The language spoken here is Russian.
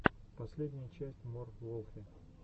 последняя часть мор волфи